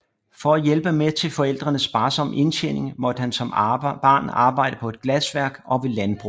For at hjælpe med til forældrenes sparsomme indtjening måtte han som barn arbejde på glasværk og ved landbruget